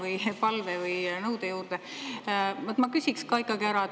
– oma palve või nõude juurde, ma ikkagi küsin.